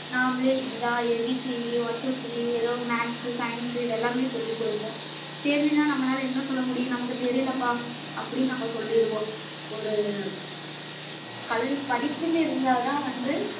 நாமளே இதுதான் abcd one two three எதோ maths science இது எல்லாமே சொல்லிக் குடுப்போம் தெரியலன்னா நம்மளால என்ன சொல்ல முடியும் நமக்குத் தெரியலப்பா அப்பிடின்னு நம்ம சொல்லிருவோம் ஒரு கல்~ படிப்புன்னு இருந்தாதான் வந்து